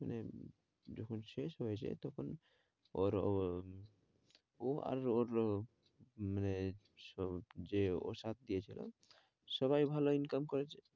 মানে যখন শেষ হয়েছে তখন ওর, ও আর ওর মানে যে ওর সাথ দিয়েছিল সবাই ভালো income করেছে।